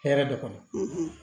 Hɛrɛ de kɔnɔ